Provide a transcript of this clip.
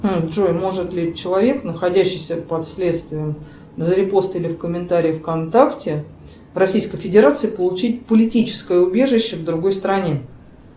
джой может ли человек находящийся под следствием за репост или комментарий вконтакте в российской федерации получить политическое убежище в другой стране